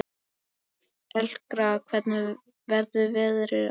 Elektra, hvernig verður veðrið á morgun?